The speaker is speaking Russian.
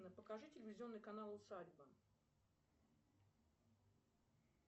покажи телевизионный канал усадьба